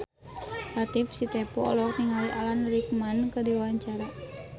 Latief Sitepu olohok ningali Alan Rickman keur diwawancara